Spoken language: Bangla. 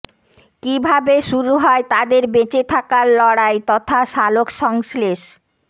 কীভাবে শুরু হয় তাদের বেঁচে থাকার লড়াই তথা সালোকসংশ্লেষ